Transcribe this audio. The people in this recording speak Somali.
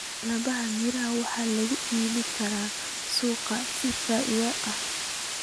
Dalagyada miraha waxaa lagu iibin karaa suuqyada si faa'iido ah.